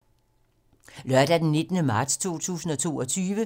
Lørdag d. 19. marts 2022